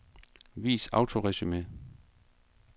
Vis autoresumé.